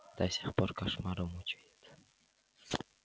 до сих пор кошмары мучают